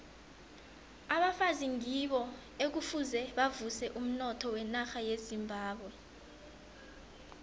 abafazi ngibo ekufuze bavuse umnotho wenarha yezimbabwe